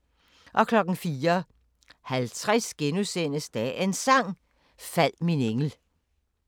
04:50: Dagens Sang: Fald min engel *